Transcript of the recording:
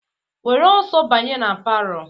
Were ọsọ banye na palọ!